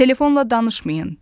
Telefonla danışmayın.